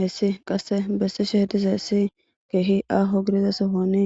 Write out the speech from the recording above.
hessi qasse bessi sheh dizaessi keehi aaho gidizasohoni